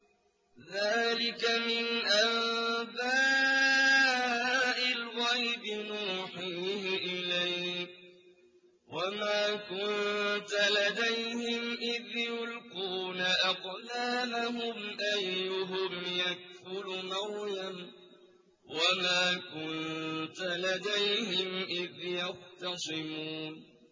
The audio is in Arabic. ذَٰلِكَ مِنْ أَنبَاءِ الْغَيْبِ نُوحِيهِ إِلَيْكَ ۚ وَمَا كُنتَ لَدَيْهِمْ إِذْ يُلْقُونَ أَقْلَامَهُمْ أَيُّهُمْ يَكْفُلُ مَرْيَمَ وَمَا كُنتَ لَدَيْهِمْ إِذْ يَخْتَصِمُونَ